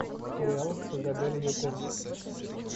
сериал с изабель юппер